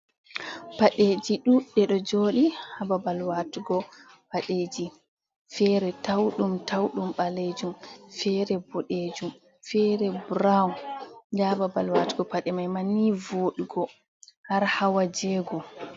Padɗeji ɗuɗɗe ɗo joɗi hababal watugo padeji, fere taudum taudum balejum fere bodejum fere brown, nda hababal watugo pade mai ma ni vodugo har hawa jego.